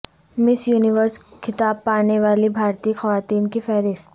مس Universe خطاب پانے والی بھارتی خواتین کی فہرست